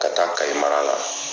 Ka taa kaye mara la